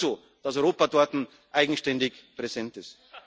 Zeiten. Das ist gut so, dass Europa dort eigenständig präsent